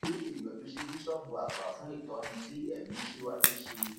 kí ó sì yọjú sí bíṣọọbù àgbà fún ìtọni ti ẹmí síwájú sí i